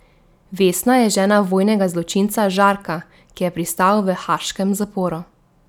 Vesna je žena vojnega zločinca Žarka, ki je pristal v haaškem zaporu.